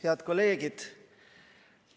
Head kolleegid!